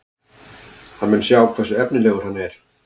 Hann mun sjá hversu efnilegur hann er.